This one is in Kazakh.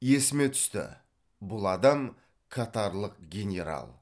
есіме түсті бұл адам катарлық генерал